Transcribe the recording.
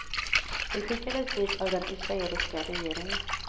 De skickades dit av den israeliska regeringen.